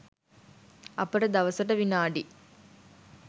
අපට දවසට විනාඩි